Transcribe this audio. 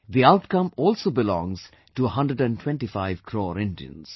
The outcome also belongs to 125 crore Indians